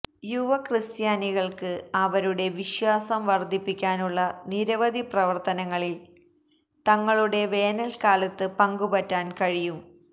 യുവക്രിസ്ത്യാനികൾക്ക് അവരുടെ വിശ്വാസം വർധിപ്പിക്കാനുള്ള നിരവധി പ്രവർത്തനങ്ങളിൽ തങ്ങളുടെ വേനൽക്കാലത്ത് പങ്കുപറ്റാൻ കഴിയും